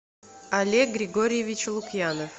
олег григорьевич лукьянов